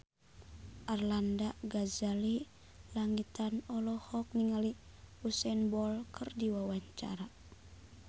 Arlanda Ghazali Langitan olohok ningali Usain Bolt keur diwawancara